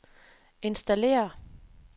installere